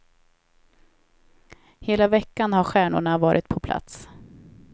Hela veckan har stjärnorna varit på plats.